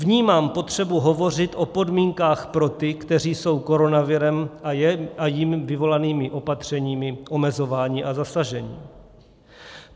Vnímám potřebu hovořit o podmínkách pro ty, kteří jsou koronavirem a jím vyvolanými opatřeními omezováni a zasaženi.